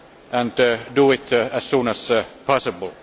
and to do it as soon as possible.